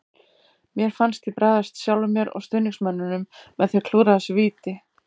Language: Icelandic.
Mér fannst ég bregðast sjálfum mér og stuðningsmönnunum með því að klúðra þessu víti.